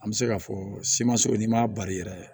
An bɛ se k'a fɔ simanso n'i m'a bari yɛrɛ